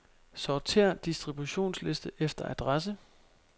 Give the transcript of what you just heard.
Sortér distributionsliste efter adresse.